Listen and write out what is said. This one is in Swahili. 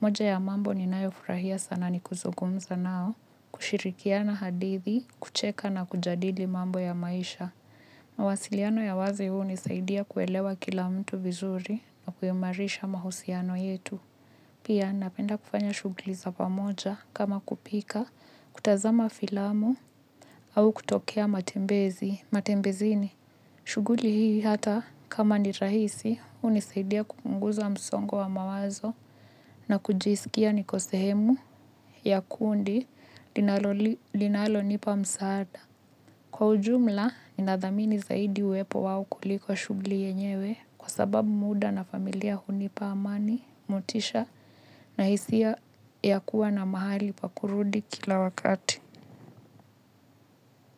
Moja ya mambo ninayofurahia sana ni kuzungumza nao, kushirikiana hadithi, kucheka na kujadili mambo ya maisha. Mawasiliano ya wazi hunisaidia kuelewa kila mtu vizuri na kuimarisha mahusiano yetu. Pia napenda kufanya shughuli za pamoja kama kupika, kutazama filamu au kutokea matembezi, matembezini. Shughuli hii hata kama ni rahisi, hunisaidia kupunguza msongo wa mawazo na kujisikia niko sehemu ya kundi linalonipa msaada. Kwa ujumla, inadhamini zaidi uwepo wao kuliko shughuli yenyewe kwa sababu muda na familia hunipa amani, motisha na hisia ya kuwa na mahali pa kurudi kila wakati.